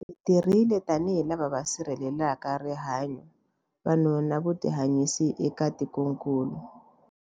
Hi tirhile tanihi lava va sirhelelaka rihanyu, vanhu na vutihanyisi eka tikokulu.